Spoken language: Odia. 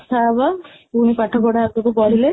କଥା ହବା ପୁଣି ପାଠପଢା ଆଗକୁ ବଢିଲେ